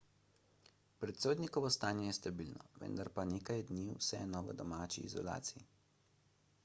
predsednikovo stanje je stabilno vendar bo nekaj dni vseeno v domači izolaciji